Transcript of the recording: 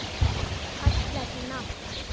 Fallegt nafn.